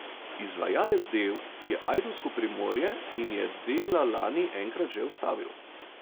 Izvajalec del je ajdovsko Primorje in je dela lani enkrat že ustavil.